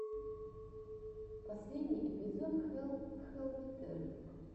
последний эпизод хелл хеллнетер